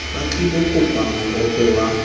ba tlilo kopa mohope wa